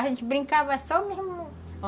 A gente brincava só mesmo.